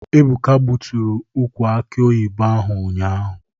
Ebụka gbutụrụ ukwụ akị oyibo ahụ ụnyaahụ.